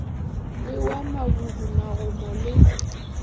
le wa mabudi magomo le